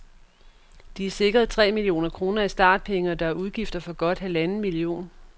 De er sikret tre millioner kroner i startpenge, og der er udgifter for godt halvanden million.